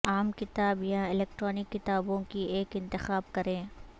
عام کتاب یا الیکٹرانک کتابوں کی ایک انتخاب کریں